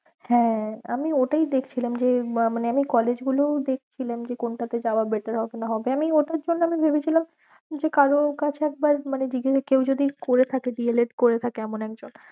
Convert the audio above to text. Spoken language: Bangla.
হ্যাঁ আমি ওটাই দেখছিলাম যে মানে আমি college গুলোয় দেখছিলাম যে কোনটাতে যাওয়া better হবে আমি ওটার জন্য আমি ভেবেছিলাম যে কারোর কাছে একবারে মানে জিজ্ঞেসা কেউ যদি করে থাকে D. el. ed করে থাকে এমন একজন।